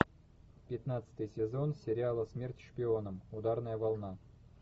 пятнадцатый сезон сериала смерть шпионам ударная волна